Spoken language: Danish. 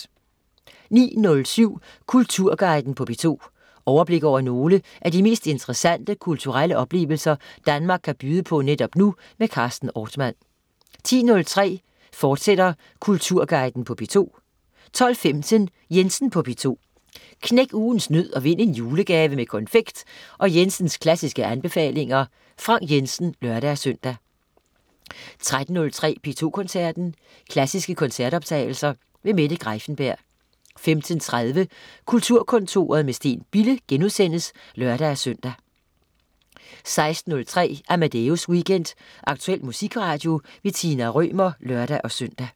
09.07 Kulturguiden på P2. Overblik over nogle af de mest interessante kulturelle oplevelser, Danmark kan byde på netop nu. Carsten Ortmann 10.03 Kulturguiden på P2, fortsat 12.15 Jensen på P2. Knæk ugens nød og vind en julegave med konfekt og Jensens klassiske anbefalinger. Frank Jensen (lør-søn) 13.03 P2 Koncerten. Klassiske koncertoptagelser. Mette Greiffenberg 15.30 Kulturkontoret med Steen Bille* (lør-søn) 16.03 Amadeus Weekend. Aktuel musikradio. Tina Rømer (lør-søn)